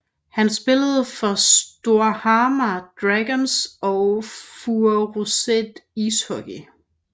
Han spillede for Storhamar Dragons og Furuset Ishockey